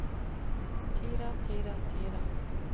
tider tider tider